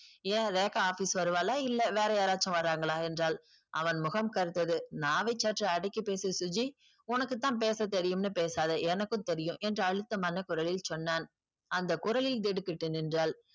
ஏன் ரேக்கா office வருவாளா இல்ல வேற யாரசும் வராங்களா என்றால் அவன் முகம் கருத்தது நாவை சற்று அடக்கி பேசு சுஜி உனக்குத்தான் பேச தெரியும் னு பேசாத எனக்கும் தெரியும் என்று அழுத்தமான குரலில் சொன்னான் அந்த குரலில் திடுக்கிட்டு நின்றால்